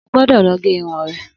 Ogbódò lọ gé irun rẹ